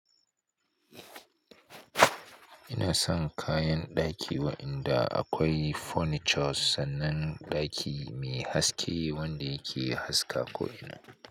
Ina son kayan ɗaki waɗanda akwai furnitures sannan ɗaki mai haske wanda yake haska ko'ina.